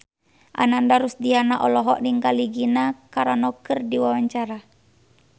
Ananda Rusdiana olohok ningali Gina Carano keur diwawancara